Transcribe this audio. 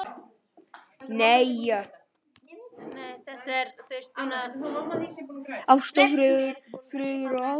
Ást og friður, friður og ást.